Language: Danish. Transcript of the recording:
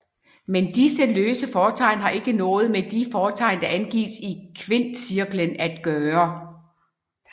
Men disse løse fortegn har ikke noget med de fortegn der angives i kvintcirklen at gøre